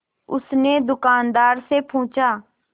उसने दुकानदार से पूछा